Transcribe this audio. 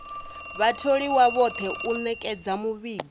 vhatholiwa vhoṱhe u ṅetshedza muvhigo